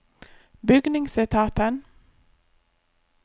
bygningsetaten